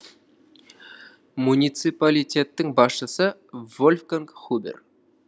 муниципалитеттің басшысы вольфганг хубер